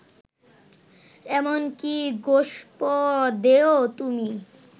এমন কি গোষ্পদেও তুমি